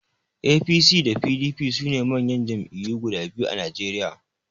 APC da PDP sune manyan Jam'iyyu guda biyu a Najeriya